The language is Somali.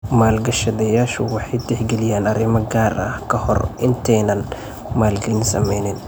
Maalgashadayaashu waxay tixgeliyaan arrimo gaar ah ka hor intaanay maalgelin sameynin.